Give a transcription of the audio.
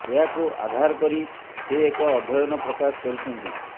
ଏହାକୁ ଆଧାର କରି ସେ ଏକ ଅଧ୍ୟୟନ ପ୍ରକାଶ କରିଛନ୍ତି